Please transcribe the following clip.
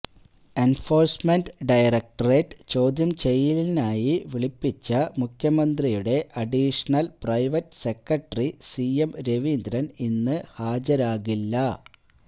enforcement directorate ചോദ്യം ചെയ്യലിനായി വിളിപ്പിച്ച മുഖ്യമന്ത്രിയുടെ additional private secretary C M Raveendran ഇന്ന് ഹാജരാകില്ല